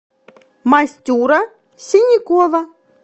мастюра синякова